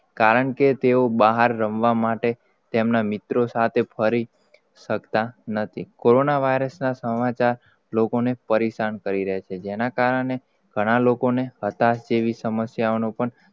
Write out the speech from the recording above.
કારણકે તેઓ બહાર રમવાના, માટે તેમના મિત્રો, સાથે ફરી શકતા નથી. કોરોન virus સમાચાર લોકો ને પરેસાન કરી રહ્યા છે જેના કારણે ઘણા લોકો ને હતાશ જેવી સમસ્યા નો પણ,